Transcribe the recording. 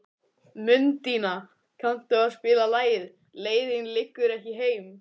Mundína, kanntu að spila lagið „Leiðin liggur ekki heim“?